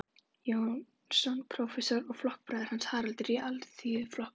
Jónsson, prófessor og flokksbróðir Haralds í Alþýðuflokknum.